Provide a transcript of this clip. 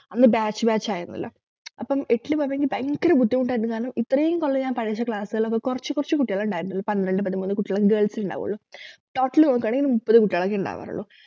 അന്ന് batch batch ആയിരുന്നല്ലോ അപ്പം എട്ടിൽ പോകുമ്പോ ഇനി ഭയങ്കരം ബുദ്ധിമുട്ടായിരുന്നു കാരണം ഇത്രയും കൊല്ലം ഞാൻ പഠിച്ച class കൊറച്ചു കൊറച്ചു കുട്ടികളെ ഉണ്ടായിരുന്നത് പന്ത്രണ്ട് പതിമൂന്നു കുട്ടികൾ girls ണ്ടാവുള്ളു total നോക്കുകാണെങ്കിൽ മുപ്പത് കുട്ടികളൊക്കെയേ ഉണ്ടാവാറുള്ളു